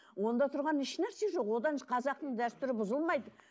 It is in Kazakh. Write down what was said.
онда тұрған ешнәрсе жоқ одан қазақтың дәстүрі бұзылмайды